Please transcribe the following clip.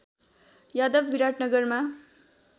Yadav विराटनगरमा